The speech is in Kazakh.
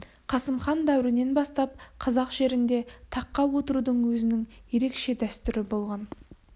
қасым хан дәуірінен бастап қазақ жерінде таққа отырудың өзінің ерекше дәстүрі болған